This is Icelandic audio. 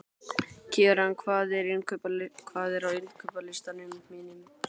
Keran, hvað er á innkaupalistanum mínum?